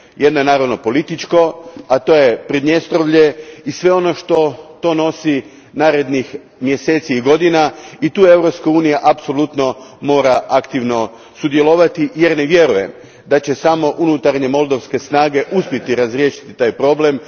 Jedan je naravno politički, a to je i sve ono što to nosi narednih mjeseci i godina i tu Europska unija apsolutno mora aktivno sudjelovati, jer vjerujem da će samo unutarnje moldovske snage uspjeti razrješiti taj problem.